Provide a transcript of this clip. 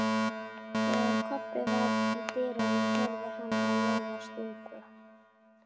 Þegar Kobbi var í dyrunum heyrði hann að Lóa stundi